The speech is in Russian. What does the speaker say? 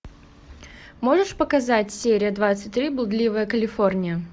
можешь показать серия двадцать три блудливая калифорния